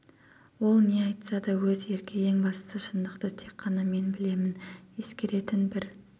ол не айтса да өз еркі ең бастысы шындықты тек қана мен білемін ескеретін бір